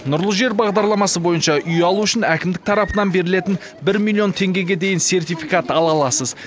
нұрлы жер бағдарламасы бойынша үй алу үшін әкімдік тарапынан берілетін бір миллион теңгеге дейін сертификат ала аласыз